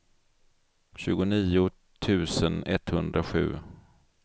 tjugonio tusen etthundrasju